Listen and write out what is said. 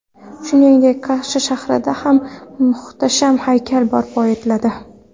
Shuningdek, Qarshi shahrida ham muhtasham haykal barpo etiladi.